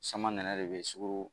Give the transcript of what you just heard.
Samanɛnɛ de bɛ sukoro